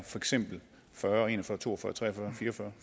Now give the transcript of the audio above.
fyrre en og fyrre to og fyrre tre og fyrre fire og fyrre